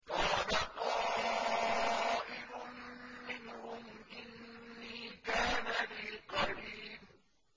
قَالَ قَائِلٌ مِّنْهُمْ إِنِّي كَانَ لِي قَرِينٌ